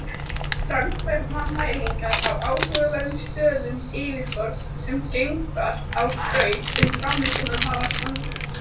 Framkvæma mælingar á áhugaverðum stöðum yfirborðsins sem geimför á braut um plánetuna hafa kannað.